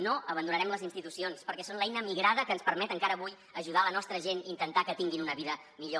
no abandonarem les institucions perquè són l’eina migrada que ens permet encara avui ajudar la nostra gent i intentar que tinguin una vida millor